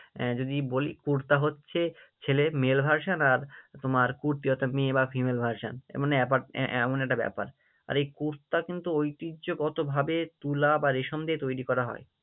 আহ যদি বলি কুর্তা হচ্ছে ছেলে তোমার কুর্তি, অর্থাৎ মেয়ে বা Female version আহ মানে এমন একটা ব্যাপার, আর এই কুর্তা কিন্তু ঐতিহ্যগতভাবে তুলা বা রেশম দিয়ে তৈরী করা হয়।